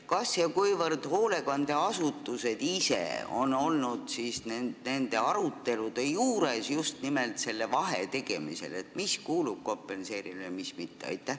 Kas ja kuivõrd hoolekandeasutused on ise olnud nende arutelude juures, just nimelt selle vahe tegemisel, et mis kuulub kompenseerimisele ja mis mitte?